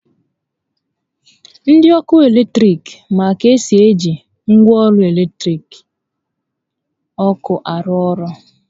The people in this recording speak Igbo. Ndi ọkụ eletrik ma ka esi eji ngwaọrụ latiriki ọkụ arụ orụ